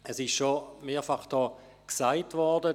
Es ist hier schon mehrfach gesagt worden: